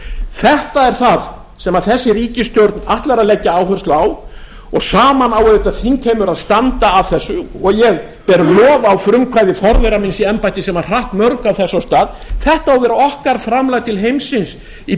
þetta er það sem þessi ríkisstjórn ætlar að leggja áherslu á og saman á auðvitað þingheimur að standa að þessu og ég ber lof á frumkvæði forvera míns í embætti sem hratt mörgu af þessu af stað þetta á að vera okkar framlag til heimsins í